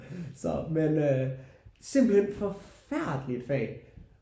Så men øh simpelthen forfærdelige fag